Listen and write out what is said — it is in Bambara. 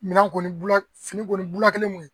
Minan kɔni bula fini kɔni bula kelen kun